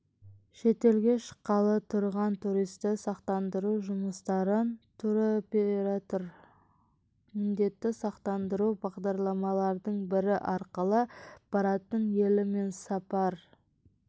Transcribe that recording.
шетелге шыққалы тұрған туристі сақтандыру жұмыстарын туроператор міндетті сақтындыру бағдарламаларының бірі арқылы баратын елі мен сапар